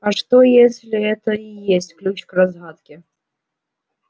а что если это и есть ключ к разгадке